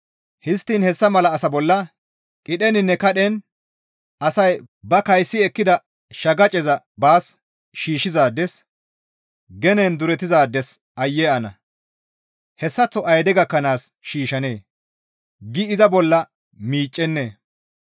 Histtiin hessa mala asa bolla qidheninne kadhen asay, ‹Ba kaysi ekkida shaqaceza baas shiishshizaades, genen duretizaades aayye ana! Hessaththo ayde gakkanaas shiishshanee?› gi iza bolla miiccennee?